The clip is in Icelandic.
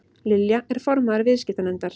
Lilja er formaður viðskiptanefndar